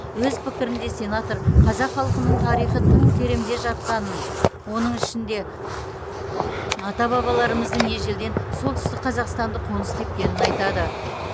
өз пікірінде сенатор қазақ халқының тарихы тым тереңде жатқанын оның ішінде ата бабаларымыздың ежелден солтүстік қазақстанды қоныс тепкенін айтады